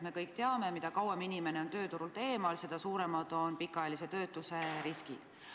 Me kõik teame, et mida kauem inimene on tööturult eemal, seda suuremad on pikaajalise töötuse riskid.